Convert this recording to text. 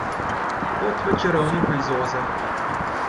Kot v Čarovniku iz Oza.